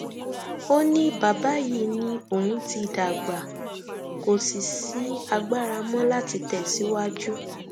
ó ní bàbá yìí ni òun ti dá gbà kò sì sí agbára mọ láti tẹsíwájú